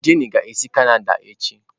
Jenny ga-esi Canada echi